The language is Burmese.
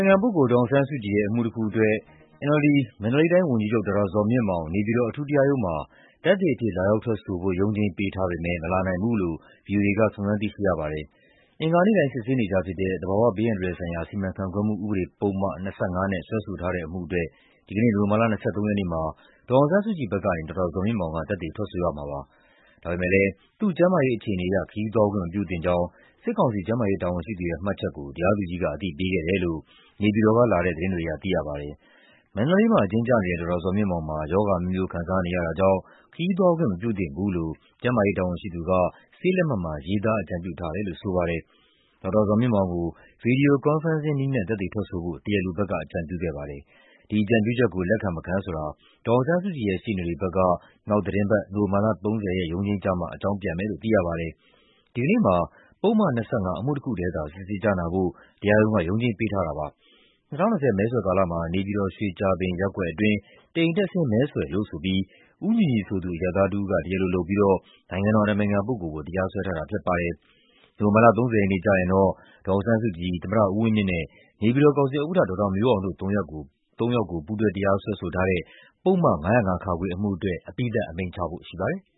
င်ခံပုဂ္ဂိုလ် ဒေါ်အောင်ဆန်းစုကြည်ရဲ့ အမှုတခုအတွက် NLD မန္တလေးတိုင်းဝန်ကြီးချုပ် ဒေါက်တာဇော်မြင့်မောင် နေပြည်တော်အထူးတရားရုံးမှာ သက်သေအဖြစ် လာရောက်ထွက်ဆိုဖို့ ရုံးချိန်းပေးထားပေမဲ့ မလာနိုင်ဘူးလို့ ဗွီအိုအေက စုံစမ်းသိရှိရပါတယ်။ အင်္ဂါနေ့တိုင်း စစ်ဆေးနေကျဖြစ်တဲ့ သဘာဝဘေးအန္တရာယ်ဆိုင်ရာ စီမံခန့်ခွဲမှု ဥပဒေ ပုဒ်မ ၂၅ နဲ့ စွဲဆိုထားတဲ့အမှုအတွက် ဒီနေ့နိုဝင်ဘာ ၂၃ ရက်မှာ ဒေါ်အောင်ဆန်းစုကြည်ဘက်ကနေဒေါက်တာဇော်မြင့်မောင် သက်သေထွက်ဆိုရမှာဖြစ်ပါတယ်။ ဒါပေမဲ့ သူ့ကျန်းမာရေးအခြေအနေအရ ခရီးသွားခွင့်မပြုသင့်ကြောင်း စစ်ကောင်စီ ကျန်းမာရေးတာဝန်ရှိသူရဲ့မှတ်ချက်ကို တရားသူကြီးက အသိပေးခဲ့တယ်လို့ နေပြည်တော်ကလာတဲ့ သတင်းတွေအရ သိရပါတယ်။ မန္တလေးမှာ အကျဉ်းကျနေတဲ့ ဒေါက်တာဇော်မြင့်မောင်မှာ ရောဂါအမျိုးမျိုး ခံစားနေရတာကြောင့် ခရီးသွား ခွင့်မပြုသင့်ဘူးလို့ ကျန်းမာရေးတာဝန်ရှိသူက ဆေးလက်မှတ်မှာ ရေးသား အကြံပြုထားတယ်လို့ဆိုပါ တယ်။ ဒေါက်တာဇော်မြင့်မောင်ကို Video conferencing နည်းနဲ့ သက်သေထွက်ဆိုဖို့ တရားလိုဘက်က အကြံပြုခဲ့ပါတယ်။ ဒီအကြံပြုချက်ကို လက်ခံမခံဆိုတာ ဒေါ်အောင်ဆန်းစုကြည်ရဲ့ ရှေ့နေတွေဘက်က နောက် သီတင်းပတ် နိုဝင်ဘာ ၃၀ ရက် ရုံးချိန်းကျမှ အကြောင်းပြန်မယ်လို့ သိရပါတယ်။ ဒီကနေ့မှာ ပုဒ်မ ၂၅ အမှုတခုတည်းကိုသာ စစ်ဆေးကြားနာဖို့ တရားရုံးက ရုံးချိန်းပေးထားတာပါ။ ၂၀၂၀ မဲဆွယ်ကာလမှာ နေပြည်တော် ရွှေကြာပင်ရပ်ကွက် အတွင်း တအိမ်တက်ဆင်း မဲဆွယ်လို့ဆိုပြီး ဦးညီညီဆိုသူ အရပ်သားတဦးက တရားလိုလုပ်ကာ နိုင်ငံတော်အတိုင်ပင်ခံပုဂ္ဂိုလ်အပေါ် တရားစွဲဆိုထားတာဖြစ် ပါတယ်။ နိုဝင်ဘာ ၃၀ ရက်ကျရင်တော့ ဒေါ်အောင်ဆန်းစုကြည်၊ သမ္မတဦးဝင်းမြင့်နဲ့ နေပြည်တော်ကောင်စီဥက္ကဋ္ဌ ဒေါက်တာမျိုးအောင်တို့ ၃ ယောက်ကို ပူးတွဲတရားစွဲထားတဲ့ ပုဒ်မ ၅၀၅-ခ အမှုအတွက် အပြီးသတ် အမိန့်ချဖို့ရှိပါတယ်။